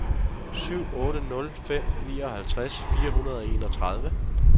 syv otte nul fem nioghalvtreds fire hundrede og enogtredive